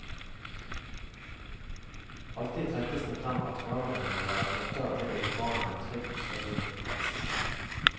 Alltid trekkes det frem at foreldrene må være flinkere til å gi barna en trygg og stabil oppvekst.